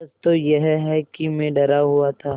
सच तो यह है कि मैं डरा हुआ था